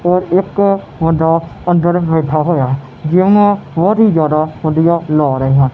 ਤੇ ਇੱਕ ਬੰਦਾ ਅੰਦਰ ਬੈਠਾ ਹੋਇਆ ਜਿੱਮ ਬਹੁਤ ਹੀ ਜਿਆਦਾ ਵਧੀਆ ਲੱਗ ਰਹਿਆ।